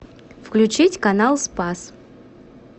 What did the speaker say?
включить канал спас